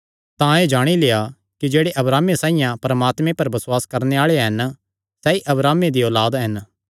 तां एह़ जाणी लेआ कि जेह्ड़े अब्राहमे साइआं परमात्मे पर बसुआस करणे आल़े हन सैई अब्राहमे दी औलाद हन